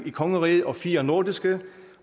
i kongeriget og fire nordiske